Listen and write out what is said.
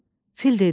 Fil dedi: